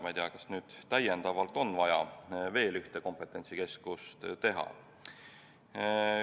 Ma ei tea, kas on vaja veel ühte kompetentsikeskust teha.